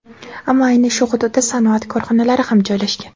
Ammo ayni shu hududda sanoat korxonalari ham joylashgan.